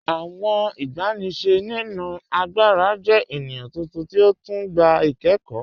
Awọn igbàníṣẹ̀ nínu àgbàrà jẹ̀ ènìyàn tuntun ti ó tún gbà ikẹ̀kọ́.